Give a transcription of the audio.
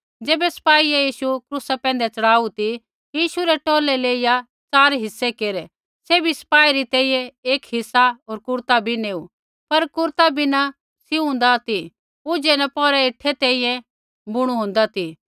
ज़ैबै सपाईये यीशु क्रूसा पैंधै च़ढ़ाऊ ती यीशु रै टौलै लेईया च़ार हिस्से केरै सैभी सपाई री तैंईंयैं एक हिस्सा होर कुरता भी नेऊ पर कुरता बिना सिउं होन्दा ती ऊझै न पोर हेठै तैंईंयैं बुणु होन्दा ती